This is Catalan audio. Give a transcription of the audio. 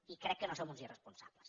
i crec que no som uns irresponsables